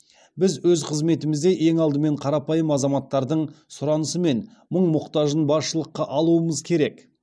біз өз қызметімізде ең алдымен қарапайым азаматтардың сұранысы мен мұң мұқтажын басшылыққа алуымыз керек